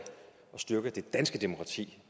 styrke det danske demokrati